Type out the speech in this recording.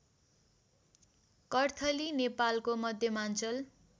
कर्थली नेपालको मध्यमाञ्चल